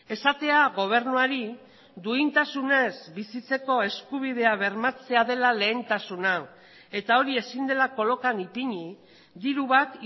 esatea gobernuari duintasunez bizitzeko eskubidea bermatzea dela lehentasuna eta hori ezin dela kolokan ipini diru bat